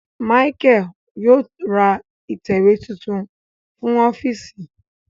Micheal yóò rá itẹwe tuntun fún ọfiisi